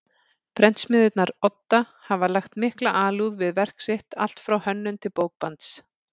Prentsmiðjunnar Odda hafa lagt mikla alúð við verk sitt allt frá hönnun til bókbands.